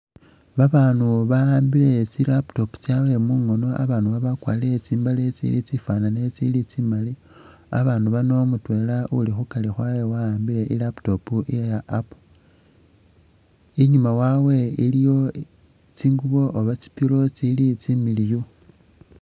Babanu ba'ambile tsi laptop tsyawe mungono abanu aba bakwalire tsi'mbaale tsili tsifanane, tsili tsimali ,babanu bano mutwela uli khukari khwabwe wa'ambile i'laptop iya apple ,inyuma wabwe iliyo tsingubo oba tsi pillow tsili tsimiliyu